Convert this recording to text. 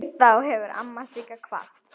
Þá hefur amma Sigga kvatt.